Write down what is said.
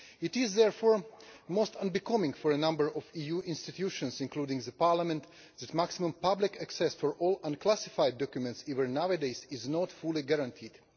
It is therefore most unbecoming for a number of EU institutions, including Parliament, that maximum public access for all unclassified documents, even nowadays, is not fully guaranteed.